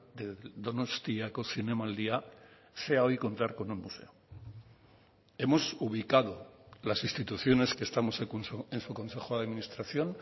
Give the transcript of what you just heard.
de donostiako zinemaldia sea hoy contar con un museo hemos ubicado las instituciones que estamos en su consejo de administración